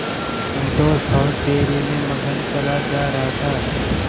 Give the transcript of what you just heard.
संतोष और धैर्य में मगन चला जा रहा था